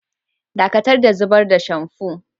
Ɗakatar da zubar da shamfu!